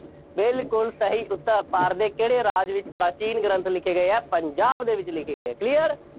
ਬਿਲਕੁੱਲ ਸਹੀ ਉੱਤਰ। ਭਾਰਤ ਦੇ ਕਿਹੜੇ ਰਾਜ ਵਿੱਚ ਪ੍ਰਾਚੀਨ ਗ੍ਰੰਥ ਲਿਖੇ ਗਏ ਆ, ਪੰਜਾਬ ਦੇ ਵਿੱਚ ਲਿਖੇ ਗਏ clear